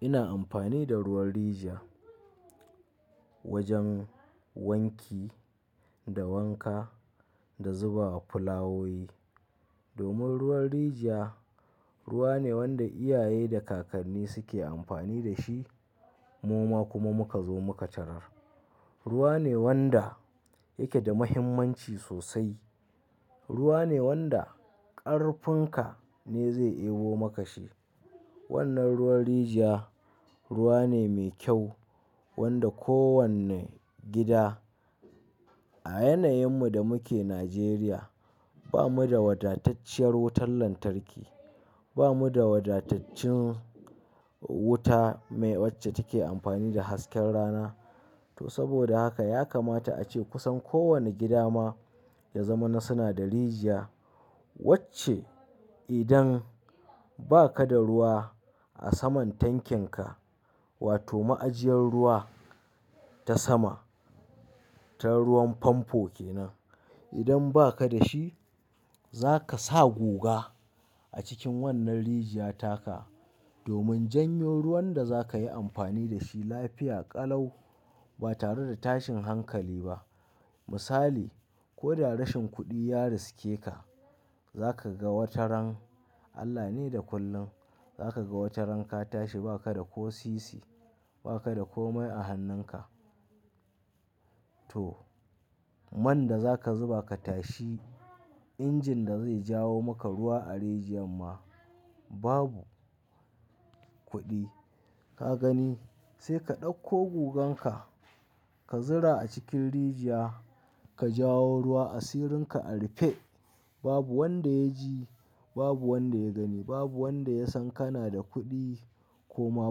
Ina amfani da ruwan riji wajen wanki da wanka da zuba a fulawowi. Domin ruwan rijiya ruwa ne wanda iyaye da kakanni suke amfani da shi, mu ma kuma muka zo muka tarar. Ruwa ne wanda yake da muhimmanci sosai. Ruwa ne wanda ƙarfin ka ne zai ewo maka shi. Wannan ruwan riji ruwa ne mai kyau wanda kowane gida a yanayinmu da muke Nijeriya bamu da wadatacciyar wutar lantarki. Bamu da wadataccin wuta mai wacce take amfani da hasken rana. To saboda haka ya kamata ace kusan kowane gida ma ya zama na suna da rijiya. Wacce idan baka da ruwa a saman tankinka wato ma'ajiyar ruwa ta sama, ta ruwan famfo kenan. Idan baka da shi zaka sa guga a cikin wannan rijiyar taka domin janyo ruwan da zakayi amfani da shi lafiya ƙalau ba tare da tashin hankali ba. Misali, ko da rashin kuɗi ya riske ka, zaka ga wata ran, Allah ne da kullum, zaka ga wata ran ka tashi baka da ko sisi, baka da ko mai a hannunka. To, man da zaka zuba ka tashi injin da zai jawo maka ruwa a rijiyar ma babu kuɗi. Ka gani, sai ka ɗauko gugan ka, ka zura a cikin rijiya, ka jawo ruwa, asirin ka a rufe. Babu wanda ya ji, babu wanda ya gani, babu wanda ya san kana da kuɗi ko ma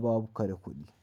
babu ka da kuɗi.